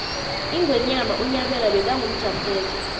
ingwenyama unyabela bekangumjaphethe